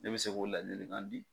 Ne bi se k'o ladilikan di